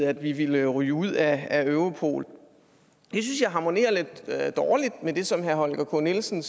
at vi ville ryge ud af europol det synes jeg harmonerer lidt dårligt med det som herre holger k nielsen